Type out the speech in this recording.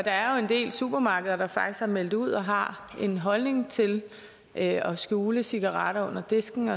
er jo en del supermarkeder der faktisk har meldt ud og har en holdning til at skjule cigaretter under disken